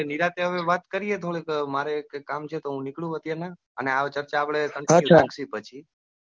આપડે નિરાંતે હવે વાત કરીયે થોડી મારે એક કામ છે. તો હું નીકળું અત્યારે અને આ ચર્ચા આપડે continue શાંતિથી રાખીયે પછી.